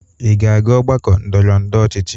Ị ga-aga ọgbakọ ndọrọndọrọ ọchịchị.